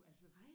Nej